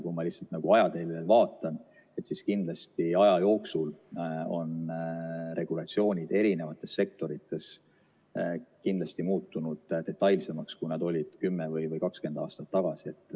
Kui ma ajateljele vaatan, siis kindlasti aja jooksul on regulatsioonid erinevates sektorites muutunud detailsemaks, kui nad olid kümme või 20 aastat tagasi.